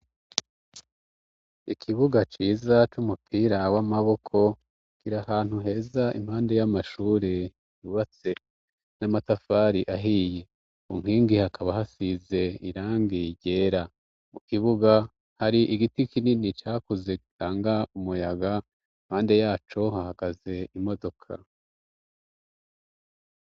Ikibuga ciza c'umupira w'amaboko kiri ahantu heza impande y'amashuri yubatse n'amatafari ahiye umpingi hakaba hasize irangi ryera mu kibuga hari igiti kinini cakuze gitanga umuyaga impande yacu hahagaze imodoka.